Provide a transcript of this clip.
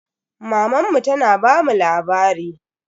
Mamanmu tana bamu labari.